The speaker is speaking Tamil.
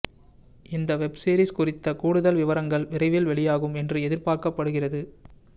இந்த வெப் சீரிஸ் குறித்த கூடுதல் விவரங்கள் விரைவில் வெளியாகும் என்று எதிர்பார்க்கப்படுகிறது